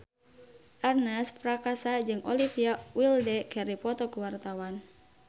Ernest Prakasa jeung Olivia Wilde keur dipoto ku wartawan